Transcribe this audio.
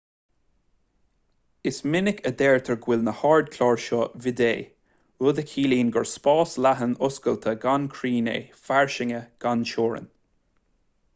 is minic a deirtear go bhfuil na hardchláir seo vidde rud a chiallaíonn gur spás leathan oscailte gan chrann é fairsinge gan teorainn